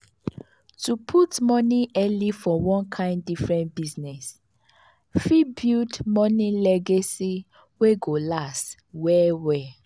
to put money early for one kind different business fit build money legacy wey go last well well.